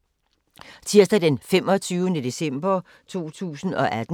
Tirsdag d. 25. december 2018